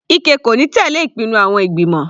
Ike kò ní tẹ̀lẹ́ ìpinnu àwọn ìgbìmọ̀.